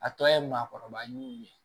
A tɔ ye maakɔrɔba ɲinini ye